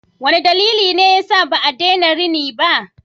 Wane dalili ne yasa ba a daina rini ba?